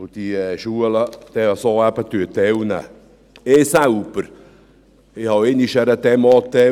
Ich selbst habe während der Schulzeit auch einmal an einer Demo teilgenommen.